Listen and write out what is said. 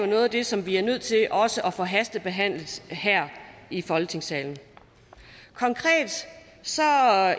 noget af det som vi er nødt til at få hastebehandlet her i folketingssalen konkret